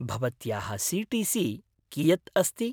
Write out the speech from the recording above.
भवत्याः सी.टी.सी. कियत् अस्ति?